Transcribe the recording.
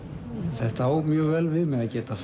þetta á mjög vel við mig að geta